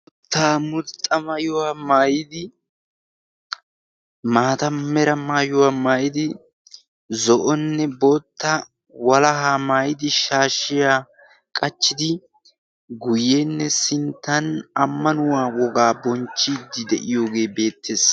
boota mulxxa mayuwaa maayidi maata mera maayuwaa maayidi zo'onnne bootta walahaa maayidi shaashshiya qachchidi guyyeenne sinttan ammanuwaa wogaa bonchchiiddi de'iyoogee beettees